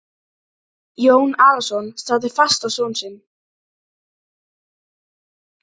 Jón Arason starði fast á son sinn.